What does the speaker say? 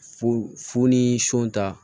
Fu fu ni so ta